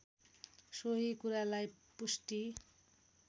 सोही कुरालाई पुष्टि